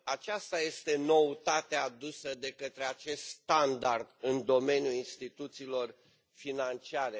Aceasta este noutatea adusă de către acest standard în domeniul instituțiilor financiare.